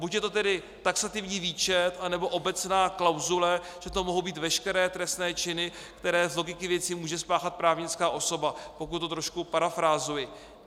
Buď je to tedy taxativní výčet, anebo obecná klauzule, že to mohou být veškeré trestné činy, které z logiky věci může spáchat právnická osoba, pokud to trošku parafrázuji.